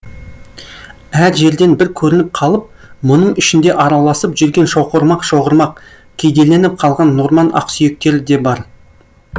әр жерден бір көрініп қалып мұның ішінде араласып жүрген шоғырмақ шоғырмақ кедейленіп қалған норман ақсүйектері де бар